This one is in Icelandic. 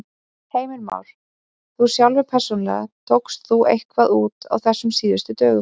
Heimir Már: Þú sjálfur persónulega, tókst þú eitthvað út á þessum síðustu dögum?